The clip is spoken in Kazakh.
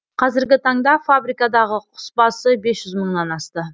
қазіргі таңда фабрикадағы құс басы бес жүз мыңнан асты